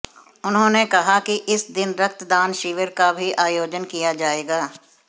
उन्होंने कहा कि इस दिन रक्तदान शिविर का भी आयोजन किया जाएगा